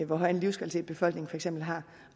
hvor høj en livskvalitet befolkningen har